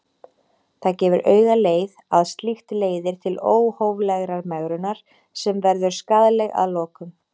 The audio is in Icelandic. Það gefur augaleið að slíkt leiðir til óhóflegrar megrunar sem verður skaðleg að lokum.